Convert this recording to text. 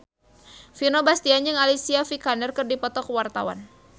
Vino Bastian jeung Alicia Vikander keur dipoto ku wartawan